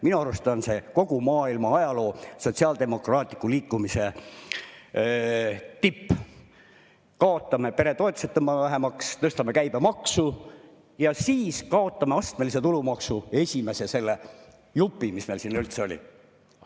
Minu arust on see kogu maailma ajaloo sotsiaaldemokraatliku liikumise tipp, et kaotame peretoetused või tõmbame neid vähemaks, tõstame käibemaksu ja siis kaotame astmelise tulumaksu esimese jupi, mis meil siin üldse oli.